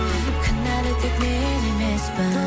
кінәлі тек мен емеспін